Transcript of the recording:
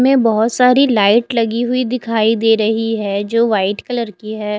बहुत सारी लाइट लगी हुई दिखाई दे रही है जो वाइट कलर की है।